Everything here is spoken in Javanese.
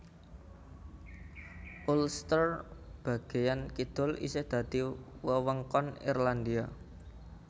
Ulster bagéyan kidul isih dadi wewengkon Irlandia